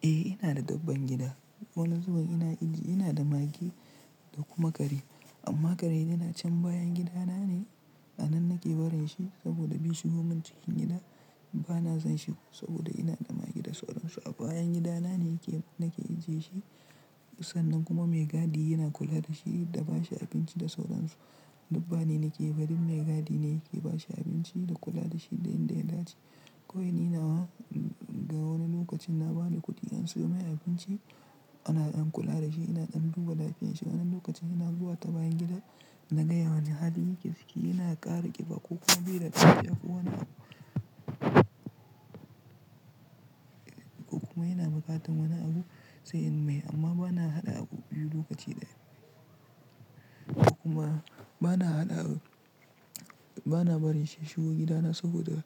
Eh ina da dabban gida. Wani zubin ina iji, ina da mage da kuma kare. Amma kare yana can bayan gidana ne. A nan nake barin shi saboda bai shigo min cikin gida. Bana sonshi saboda ina da mage da sauran su. A bayan gidana ne yake, nake ajiye shi. Sannan kuma mai gadi yana kula da shi da ba shi abinci da sauran su. Duk ba ni nake yi ba, duk mai gadi ne yake ba shi abinci da kula da shi da yanda da ya dace. Kawai ni nawa, inga wani lokacin na ba da kuɗi an sayo mai abinci, ana ɗan kula da shi, ina ɗan duba lafiyarsa. Wani lokacin ina zuwa ta bayan gida, na ga wane hali yake ciki. Yana ƙara ƙiba ko kuma bai da lafiya, ko wani abu. Ko kuma yana buƙatar wani abu, sai in mai amma bana haɗa abu biyu lokaci ɗaya. Kuma bana haɗa, bana barin shi ya shigo gida na saboda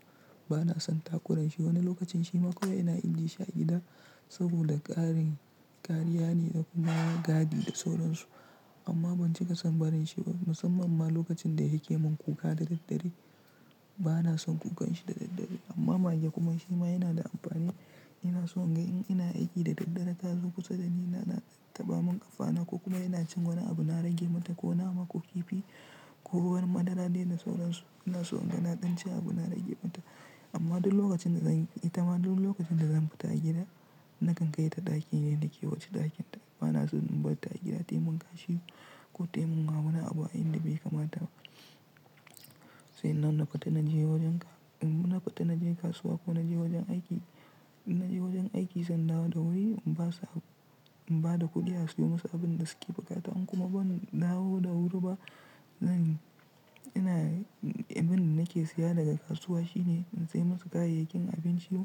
bana son takuranshi. Wani lokacin shi ma kawai yana ajiye shi a gida saboda ƙarin ƙariya ne da kuma gadi da sauran su. Amma ban cika son barin shi ba, musamman ma lokacin da yake mun kuka da daddare. Bana son kukan shi da daddare. Amma mage kuma shi ma yana da amfani. Ina so in ga in ina aiki da daddare, ta zo kusa da ni, yana taɓa mun ƙafana ko kuma ina cin wani abu, na rage mata ko wani abu ko kifi ko wani madara dai da sauran su. Ina so in ga na ɗan ci abu, na rage mata. Amma duk lokacin da zan fita, lokacin da zan fita gida, nakan kai ta ɗakin da yake, wuce ɗakin ta. Bana so in bar ta a gida tayi mun kashi ko tayi mun ha wani abu, inda bai kamata ba. Sannan na fita na je wajen ka, idan na fita na je kasuwa ko na je wajen aiki, na je wajen aiki, sanda ba da wuri, in ba su, in ba da kuɗi a sayo masa abin da suke buƙata. In kuma ban dawo da wuri ba, zan, ina, abin da nake siya daga kasuwa shine in sai musu kayayyakin abinci,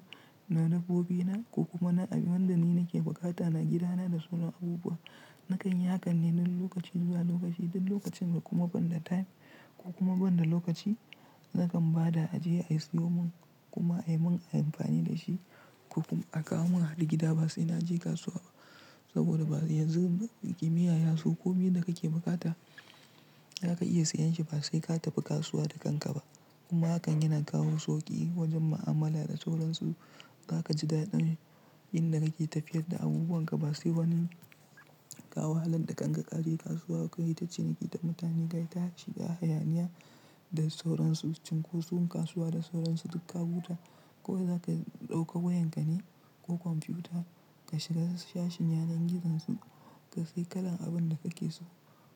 na dabbobina ko kuma na, ko kuma wanda ni nake bukata na gidana da sauran abubuwa. Nakan yi hakan ne duk lokaci zuwa lokaci. Duk lokacin da kuma ban da time ko kuma ban da lokaci, nakan ba da a je a siyo mun kuma a min amfani da shi. Ko kuma a kawo mun a har gida ba sai na je kasuwa ba. Saboda yanzu kimiyya yaso ko miya da kake bukata, za ka iya sayan shi ba sai ka tafi kasuwa da kasuwa da kanka ba. Kuma hakan yana kawo sauƙi wajen mu'amala da sauran su. Za ka ji daɗin inda kake tafiyar da abubuwan ka ba sai wani ka wahalar da kanka kaje kasuwa koyita ciniki da mutane. Ka yita shiga hayaniya da sauran su. Cin ko sum kasuwa da sauran su duk ka huta kawai zaka ɗauka wayan ka ne ko kwamfiyuta ka shiga sashin yanar gizon su, ka sayi kalan abin da kake so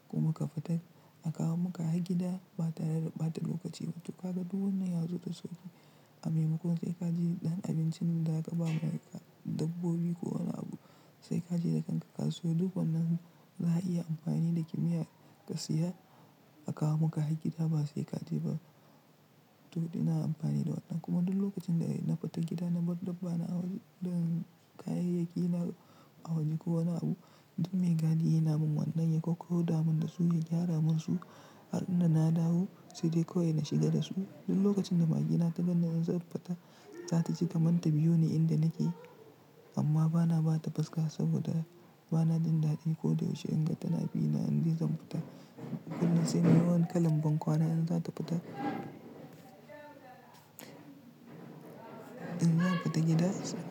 kuma ka fita a kawo maka har gida ba tare da ɓata lokaci ba. Duk haka duk wannan ya zo da sauƙi. A mai makon sai ka je ɗan abinci da za ka ba dabbobi ko wani abu. Sai ka je da kanka kasuwa. Duk wannan za a iya amfani da kimiyya ka siya a kawo maka a gida ba sai ka je ba. To ina amfani da wannan kuma duk lokacin da ina fita gida na bar dabbana a waje da kayayyaki, a waje ko wani abu, duk mai gadi yana mun wannan ya kakkau da min da su ya gyara mun su. Har in na dawo sai dai kawai na shiga da su. Duk lokacin da mage na ta ganni zan fita, ta taji kamar ta biyo ni inda nake amma bana ba ta fuskata saboda bana jin daɗi ko da yaushe in ga tana bina in ji zan fita. Kuma sai yawan kalan bankwana in za ta fita, in zan fita gida.